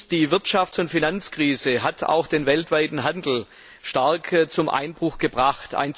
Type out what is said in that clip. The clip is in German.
Die Wirtschafts und Finanzkrise hat auch den weltweiten Handel stark zum Einbruch gebracht.